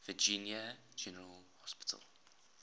virginia general assembly